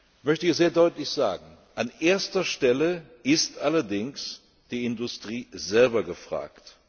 Ich möchte hier sehr deutlich sagen An erster Stelle ist allerdings die Industrie selber gefragt.